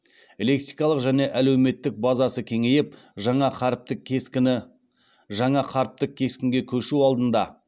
лексикалық және әлеуметтік базасы кеңейіп жаңа қаріптік кескінге көшу алдында